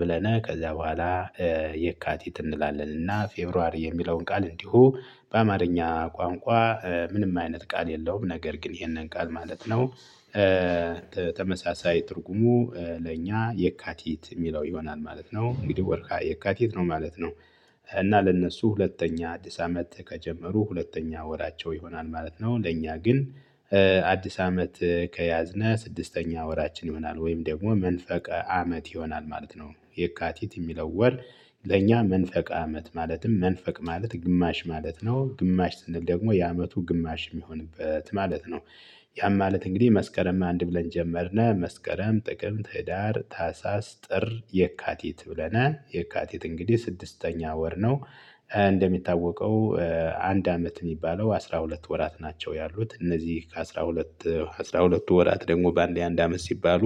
ብለነ ከዛ በኋላ የካቲት እንላለንና ፌብሩዋሪ የሚለውን ቃል እንዲሁ በአማርኛ ቋንቋ ምንም አይነት ቃል የለውም ነገር ግን ይሄንን ቃል ማለት ነው። ተመሳሳይ ትርጉሙ ለእኛ የካቲት የሚለው ይሆናል ማለት ነው እንግዲህ ወርሀ የካቲት ነው ማለት ነው። እና ለእነሱ ሁለተኛ አዲስ አመት ከጀመሩ ሁለተኛ ወራቸው ይሆናል ማለት ነው። ለእኛ ግን አዲስ አመት ከያዝነህ ስድስተኛ ወራችን ይሆናል ወይም ደግሞ መንፈቀ አመት ይሆናል ማለት ነው። የካቲት የሚለው ወር ለእኛ መንፈቀ አመት ማለትም መንፈቅ ማለት ግማሽ ማለት ነው ግማሽ ስንል ደግሞ የአመቱ ግማሽ የሚሆንበት ማለት ነው። ያም ማለት እንግዲህ መስከረም አንድ ብለን ጀመርነ መስከረም ጥቅም ህዳር ታህሳስ ጥር የካቲት ብለናል የካቲት እንግዲህ ስድስተኛ ወር ነው። እንደሚታወቀው አንድ አመት የሚባለው አስራ ሁለት ወራት ናቸው ያሉት እነዚህ ከአስራ ሁለት አስራ ሁለቱ ወራት ደግሞ በአንዴ አንድ አመት ሲባሉ።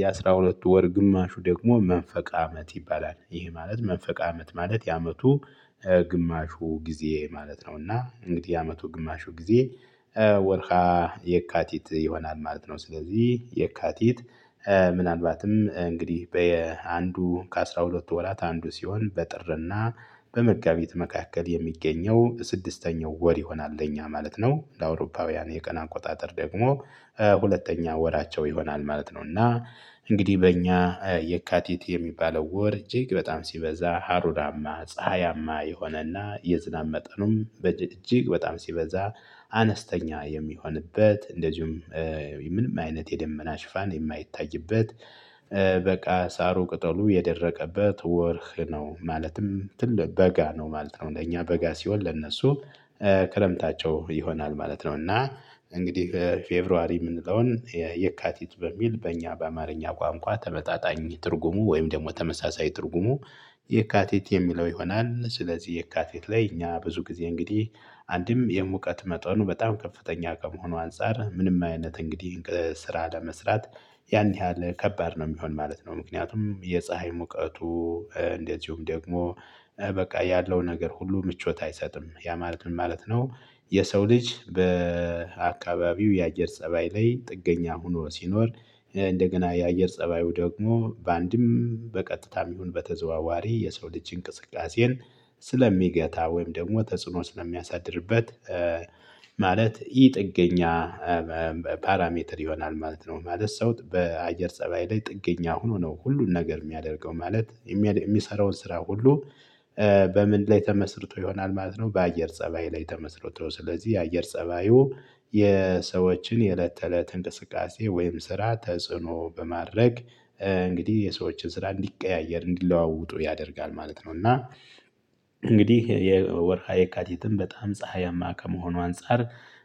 የአስራ ሁለቱ ወር ግማሹ ደግሞ መንፈቅ አመት ይባላል ይሄ ማለት መንፈቅ አመት ማለት የአመቱ ግማሹ ጊዜ ማለት ነውና እንግዲህ ያመቱ ግማሹ ጊዜ ወርሃ የካቲት ይሆናል ማለት ነው። ስለዚህ የካቲት ምናልባትም እንግዲህ በአንዱ ከአሥራ ሁለትቱ ወራት አንዱ ሲሆን በጥርና በመጋቢት መካከል የሚገኘው ስድስተኛው ወር ይሆናል በእኛ ማለት ነው። ለአውሮፓውያን የቀን አቆጣጠር ደግሞ ሁለተኛ ወራቸው ይሆናል ማለት ነው። እና እንግዲህ በእኛ የካቲት የሚባለው ወር እጅግ በጣም ሲበዛ ሀሩራማ ፀሀያማ የሆነና የዝናብ መጠኑም እጅግ በጣም ሲበዛ አነስተኛ የሚሆንበት እንደዚሁም ምንም አይነት የደመና ሽፋን የማይታይበት በቃ ሳሩ ቅጠሉ የደረቀበት ወርህ ነው ማለትም ትልቅ በጋ ነው ማለት ነው። ለእኛ በጋ ሲሆን ለነሱ ክረምታቸው ይሆናል ማለት ነው። እና እንግዲህ ፌብሩዋሪ የምንለውን የካቲት በሚል በእኛ በአማርኛ ቋንቋ ተመጣጣኝ ትርጉሙ ወይም ደግሞ ተመሳሳይ ትርጉሙ የካቲት የሚለው ይሆናል። ስለዚህ የካቲት ላይ እኛ ብዙ ጊዜ እንግዲህ አንድም የሙቀት መጠኑ በጣም ከፍተኛ ከመሆኑ አንፃር ምንም አይነት እንግዲህ ስራ ለመስራት ያን ያህል ከባድ ነው የሚሆን ማለት ነው። ምክንያቱም የፀሀይ ሙቀቱ እንደዚሁም ደግሞ በቃ ያለው ነገር ሁሉ ምቾት አይሰጥም ያ ማለት ምን ማለት ነው? የሰው ልጅ በአካባቢው የአየር ፀባይ ላይ ጥገኛ ሆኖ ሲኖር እንደገና የአየር ፀባዩ ደግሞ በአንድም በቀጥታም ይሁን በተዘዋዋሪ የሰው ልጅ እንቅስቃሴን ስለሚገታ ወይም ደግሞ ተጽዕኖ ስለሚያሳድርበት። ማለት ይህ ጥገኛ ፓራሜትር ይሆናል ማለት ነው። ማለት ሰውት በአየር ፀባይ ላይ ጥገኛ ሆኖ ነው ሁሉን ነገር የሚያደርገው ማለት የሚያድ የሚሰራውን ስራ ሁሉ። በምን ላይ ተመስርቶ ይሆናል ማለት ነው። በአየር ፀባይ ላይ ተመስርቶ ስለዚህ የአየር ፀባዩ የሰዎችን የእለት ተእለት እንቅስቃሴ ወይም ስራ ተጽዕኖ በማድረግ እንግዲህ የሰዎችን ስራ እንዲቀያየር እንዲለዋወጡ ያደርጋል ማለት ነው። እና እንግዲህ የወርሃ የካቲትም በጣም ፀሀያማ ከመሆኑ አንፃር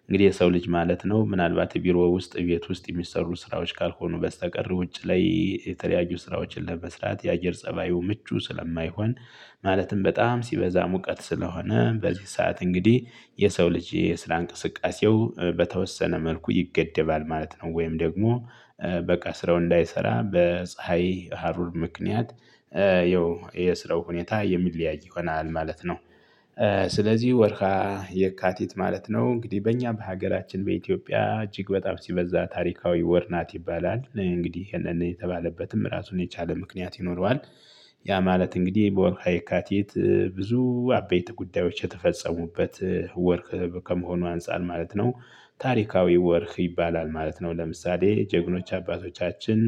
እንግዲህ የሰው ልጅ ማለት ነው ምናልባት ቢሮ ውስጥ ቤት ውስጥ የሚሰሩ ስራዎች ካልሆኑ በስተቀር ውጭ ላይ የተለያዩ ስራዎችን ለመስራት የአየር ፀባዩ ምቹ ስለማይሆን። ማለትም በጣም ሲበዛ ሙቀት ስለሆነ በዚህ ሰዓት እንግዲህ የሰው ልጅ የስራ እንቅስቃሴው በተወሰነ መልኩ ይገደባል ማለት ነው። ወይም ደግሞ በቀስረው እንዳይሰራ በፀሀይ ሀሩር ምክንያት ይኸው የስራው ሁኔታ የሚለያይ ይሆናል ማለት ነው። ስለዚህ ወርሃ የካቲት ማለት ነው እንግዲህ በእኛ በሀገራችን በኢትዮጵያ እጅግ በጣም ሲበዛ ታሪካዊ ወር ናት ይባላል እንግዲህ የተባለበትም ራሱን የቻለ ምክንያት ይኖረዋል። ያ ማለት እንግዲህ በወርሃ የካቲት ብዙ አበይት ጉዳዮች የተፈጸሙበት ወርህ ከመሆኑ አንፃር ማለት ነው። ታሪካዊ ወርህ ይባላል ማለት ነው። ለምሳሌ ጀግኖች አባቶቻችን